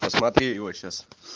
посмотри его сейчас